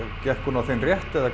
gekk hún á þinn rétt eða